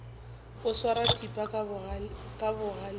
o swara thipa ka bogaleng